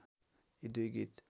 यी दुई गीत